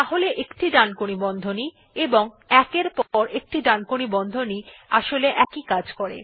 তাহলে একটি ডানকোণী বন্ধনী এবং ১ এর পর একটি ডানকোণী বন্ধনী আসলে একই কাজ করে